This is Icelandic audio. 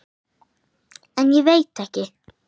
En ég veit ekki.